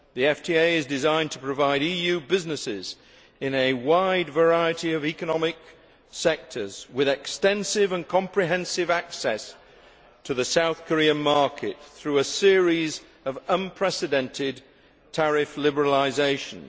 The FTA is designed to provide EU businesses, in a wide variety of economic sectors, with extensive and comprehensive access to the South Korean market through a series of unprecedented tariff liberalisations.